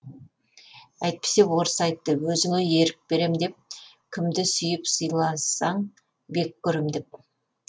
әйтпесе орыс айтты өзіңе ерік берем деп кімді сүйіп сыйласаң бек көрем деп